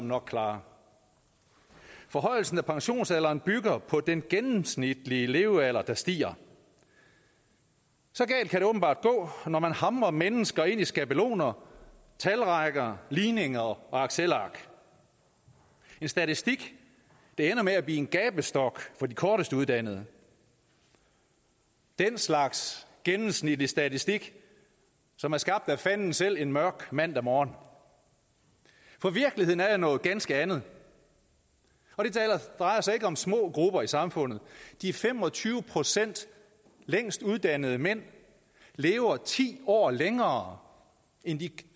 nok klare forhøjelsen af pensionsalderen bygger på den gennemsnitlige levealder der stiger så galt kan det åbenbart gå når man hamrer mennesker ind i skabeloner talrækker ligninger og excelark en statistik der ender med at blive en gabestok for de kortest uddannede den slags gennemsnitlig statistik som er skabt af fanden selv en mørk mandag morgen for virkeligheden er jo noget ganske andet og det drejer sig ikke om små grupper i samfundet de fem og tyve procent længst uddannede mænd lever ti år længere end de